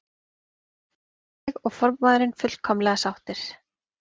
Ég og formaðurinn fullkomlega sáttir.